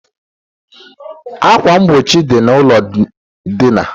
Akwa mgbochi dị na ụlọ dina